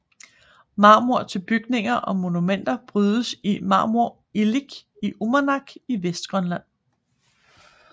Marmor til bygninger og monumenter brydes i Marmorilik i Umanak i Vestgrønland